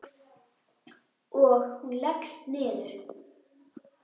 Og hún leggst niður.